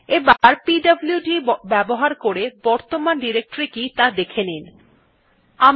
এবার পিডব্লুড ব্যবহার করে বর্তমান ডিরেক্টরী কি ত়া দেখে নেওয়া যাক